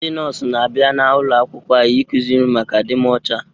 Ndị nọọsụ n'abia n'ulo akwụkwọ anyị, ị kụziri anyị maka adịmocha